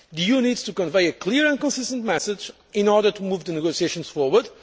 road. The EU needs to convey a clear and consistent message in order to move the negotiations forward.